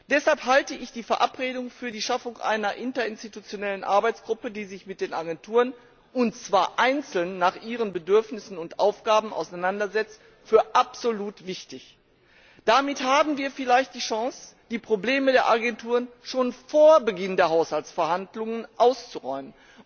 Deshalb halte ich die Verabredung für die Schaffung einer interinstitutionellen Arbeitsgruppe, die sich mit den Agenturen und zwar einzeln nach ihren Bedürfnissen und Aufgaben auseinandersetzt, für absolut wichtig. Damit haben wir vielleicht die Chance, die Probleme der Agenturen schon vor Beginn der Haushaltsverhandlungen auszuräumen.